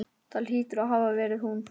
Það hlýtur að hafa verið hún.